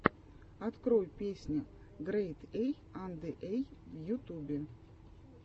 открой песня грэйд эй анде эй в ютубе